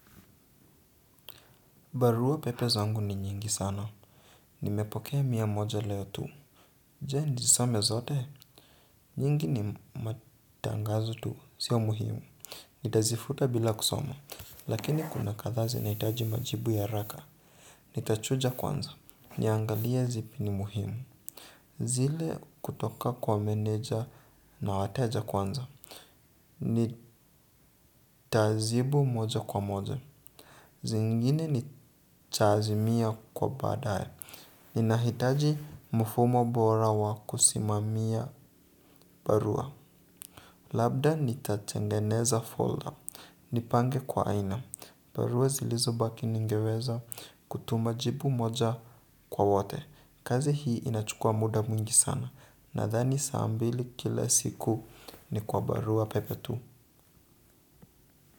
Barua pepe zangu ni nyingi sana. Nimepokea mia moja leo tu. Je nizisome zote nyingi ni matangazo tu sio muhimu. Nitazifuta bila kusoma. Lakini kuna kadhaa zinahitaji majibu ya haraka nitachuja kwanza. Niangalia zipi ni muhimu. Zile kutoka kwa meneja na wateja kwanza. Nitajibu moja kwa moja. Zingine nitaazimia kwa baadaye. Ninahitaji mfumo bora wa kusimamia barua. Labda nitatengeneza folder. Nipange kwa aina. Barua zilizo baki ningeweza kutuma jibu moja kwa wote. Kazi hii inachukua muda mwingi sana. Nadhani saambili kila siku ni kwa barua pepe tu.